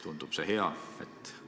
Tundub see hea?